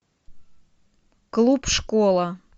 клуб школа